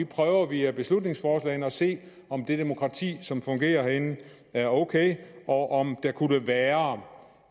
prøver vi via beslutningsforslagene at se om det demokrati som fungerer herinde er ok og om der kunne være